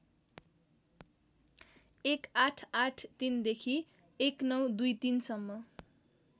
१८८३ देखि १९२३ सम्म